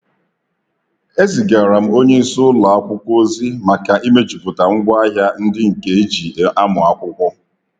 Ezigara m onye isi ụlọ akwụkwọ ozi maka imejuputa ngwa ahia ndi nke e ji amu akwụkwọ.